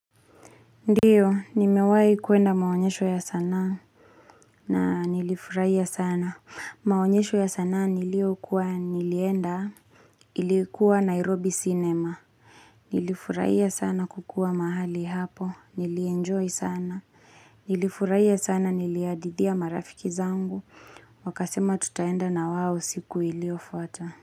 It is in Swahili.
Ndiyo, nimewai kuenda maonyesho ya sana. Na nilifurahia sana. Maonyesho ya sanaa niliokuwa nilienda. Ilikuwa Nairobi cinema. Nilifurahia sana kukua mahali hapo. Nilienjoy sana. Nilifurahia sana nilihadithia marafiki zangu. Wakasema tutaenda na wao siku iliofuata.